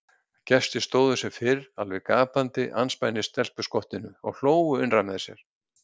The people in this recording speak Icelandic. Gestir stóðu sem fyrr alveg gapandi andspænis stelpuskottinu og hlógu innra með sér.